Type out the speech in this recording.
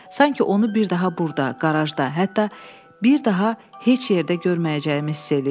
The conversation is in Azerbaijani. Sanki onu bir daha burda qarajda, hətta bir daha heç yerdə görməyəcəyimi hiss eləyirdim.